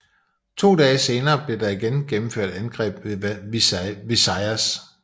To dage senere blev der igen gennemført angreb ved Visayas